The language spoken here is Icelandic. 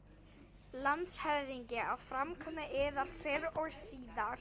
LANDSHÖFÐINGI: Á framkomu yðar fyrr og síðar.